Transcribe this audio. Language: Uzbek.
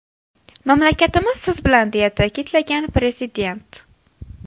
Mamlakatimiz siz bilan”, deya ta’kidlagan prezident.